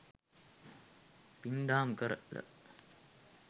පින්දහම් කරල